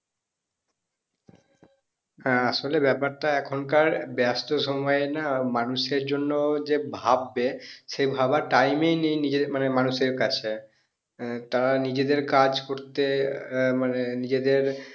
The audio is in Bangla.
হ্যাঁ আসলে ব্যাপারটা এখনকার ব্যস্ত সময়ের না মানুষের জন্য যে ভাববে সেই ভাববার time ই নেই নিজের মানে মানুষের কাছে। আহ তারা নিজেরদের কাজ করতে আহ মানে নিজেদের